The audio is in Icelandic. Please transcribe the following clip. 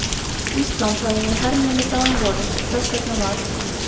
Ísland hafði verið hernumið þá um vorið og þess vegna varð